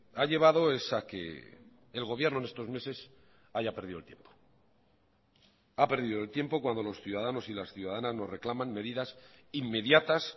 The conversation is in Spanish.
ha llevado es a que el gobierno en estos meses haya perdido el tiempo ha perdido el tiempo cuando los ciudadanos y las ciudadanas nos reclaman medidas inmediatas